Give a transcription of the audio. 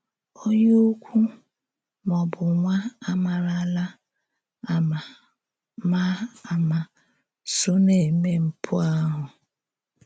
“Onye ǔkwú,” mà ọ bụ nwá àmààlà à mà mà àmà sò na-émè mpù ahụ.